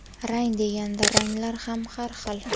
Rang deganda, ranglar ham har xil.